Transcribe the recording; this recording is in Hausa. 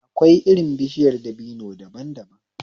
Akwai irin bishiyar dabino daban daban